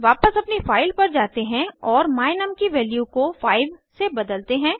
वापस अपनी फाइल पर जाते हैं और my num की वैल्यू को 5 से बदलते हैं